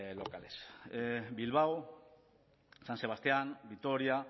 locales bilbao san sebastián vitoria